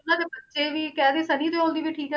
ਉਹਨਾਂ ਦੇ ਬੱਚੇ ਵੀ ਕਹਿ ਦਈਏ ਸਨੀ ਦਿਓਲ ਦੀ ਵੀ ਠੀਕ ਹੈ।